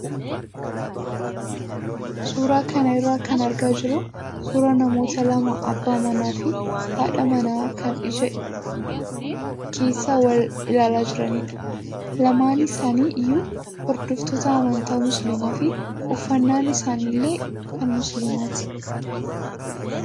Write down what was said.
Suuraa kana irraa kan argaa jirru suuraa namoota lama abbaa manaa fi haadha manaa kan ija keessa wal ilaalaa jiranidha. Lamaan isaanii iyyuu hordoftoota amantaa musliimaa fi uffannaan isaanii illee kan musliimaati.